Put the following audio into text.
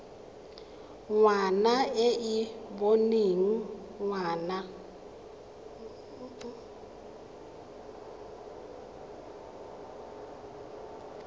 ngwana e e boneng ngwana